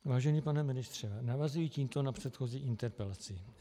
Vážený pane ministře, navazuji tímto na předchozí interpelaci.